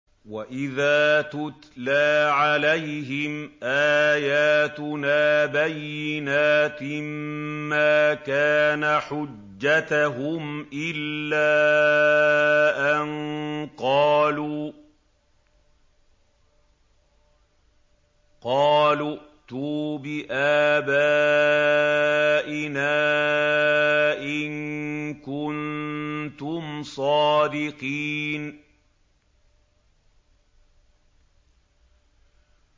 وَإِذَا تُتْلَىٰ عَلَيْهِمْ آيَاتُنَا بَيِّنَاتٍ مَّا كَانَ حُجَّتَهُمْ إِلَّا أَن قَالُوا ائْتُوا بِآبَائِنَا إِن كُنتُمْ صَادِقِينَ